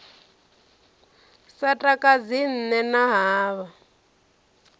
sa takadzi nṋe na havha